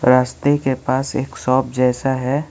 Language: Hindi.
रास्ते के पास एक शॉप जैसा है।